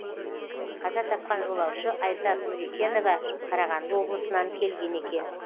қаза тапқан жолаушы айзат нүрекенова қарағанды облысынан келген екен